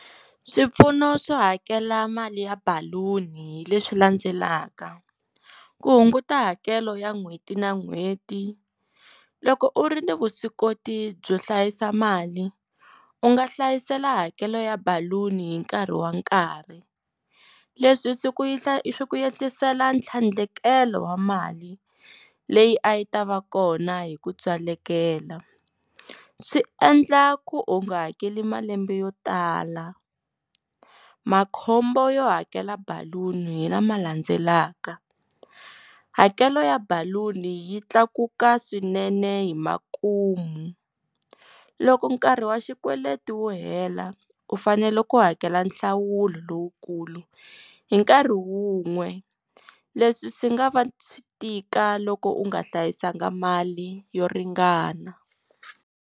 Swipfuno swo hakela mali ya baluni hi leswi landzelaka, ku hunguta hakelo ya n'hweti na n'hweti, loko u ri ni vuswikoti byo hlayisa mali u nga hlayisela hakelo ya baluni hi nkarhi wa nkarhi leswi swi ku ye swi ku yehlisela tlhandlekelo wa mali leyi a yi ta va kona hi ku tswalekela swi endla ku u nga hakeli malembe yo tala makhombo yo hakela baluni hi lama landzelaka hakelo ya baluni yi tlakuka swinene hi makumu loko nkarhi wa xikweleti wu hela u fanele ku hakela nhlawulo lowukulu hi nkarhi wun'we leswi swi nga va swi tika loko u nga hlayisanga mali yo ringana.